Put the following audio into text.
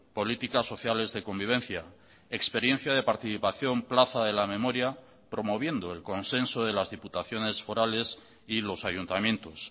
políticas sociales de convivencia experiencia de participación plaza de la memoria promoviendo el consenso de las diputaciones forales y los ayuntamientos